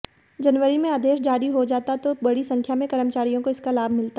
जनवरी में आदेश जारी हो जाता तो बड़ी संख्या में कर्मचारियों को इसका लाभ मिलता